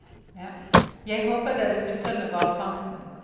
Jeg håper dere slutter med hvalfangsten.